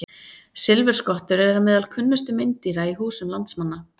Silfurskottur eru meðal kunnustu meindýra í húsum landsmanna.